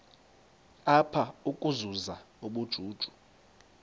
apha ukuzuza ubujuju